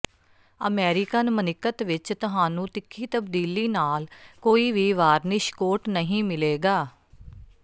American ਮਨਿਕਤ ਵਿੱਚ ਤੁਹਾਨੂੰ ਤਿੱਖੀ ਤਬਦੀਲੀ ਨਾਲ ਕੋਈ ਵੀ ਵਾਰਨਿਸ਼ ਕੋਟ ਨਹੀਂ ਮਿਲੇਗਾ